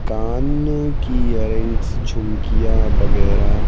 कान की यरिंग्स झुमकिया वगैरह।